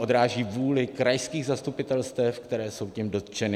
Odráží vůli krajských zastupitelstev, která jsou tím dotčena.